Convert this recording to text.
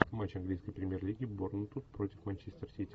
матч английской премьер лиги борнмут против манчестер сити